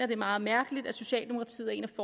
det er meget mærkeligt at socialdemokratiet er en